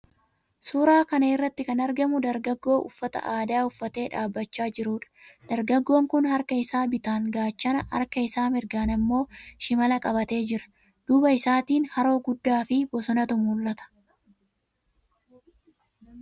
Suuraa kana irratti kan argamu dargaggoo uffata aadaa uffatee dhaabbachaa jiruudha. Dargaggoon kun harka isaa bitaan gaachana, harka isaa mirgaan immoo shimala qabatee jira. Duuba isaatiin haroo guddaafi bosonatu mul'ata.